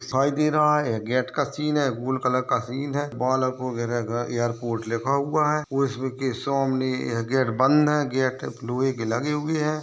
दिखाई दे रहा है गेट का सीन है गोल कलर का सीन है बालको गृह घर एयरपोर्ट लिखा हुआ है और इसके सामने गेट बंद है गेट लोहे के लगे हुए है।